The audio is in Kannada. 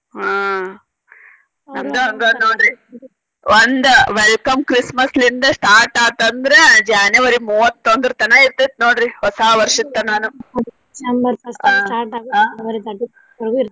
ಆಹ್ ನಮ್ದು ಹಂಗ ನೋಡ್ರಿ ಒಂದ welcome Christmas ಲಿಂದ start ಆತ ಅಂದ್ರ January ಮೂವತ್ತೊಂದರ ತನಾ ಇರ್ತೆತಿ ನೋಡ್ರಿ ಹೊಸ ವರ್ಷದ ತನಾನು